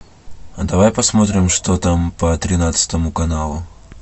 а давай посмотрим что там по тринадцатому каналу